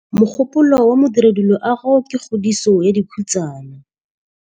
Mogôpolô wa Modirediloagô ke kgodiso ya dikhutsana.